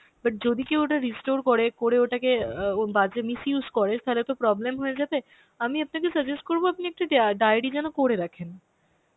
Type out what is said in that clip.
but যদি কেউ ওটা restore করে, করে ওটাকে অ্যাঁ এবং বাজে misuse করে তাহলে তো problem হয়ে যাবে, আমি আপনাকে suggest করবো আপনি একটু ডায়ে~ diary যেন করে রাখেন.